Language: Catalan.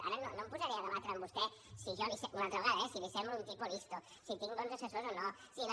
ara no em posaré a debatre amb vostè una altra vegada eh si li semblo un tipo listo si tinc bons assessors o no si la